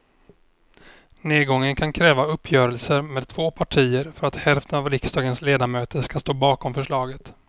Nedgången kan kräva uppgörelser med två partier för att hälften av riksdagens ledamöter ska stå bakom förslaget.